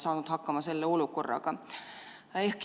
Vabandust, 347.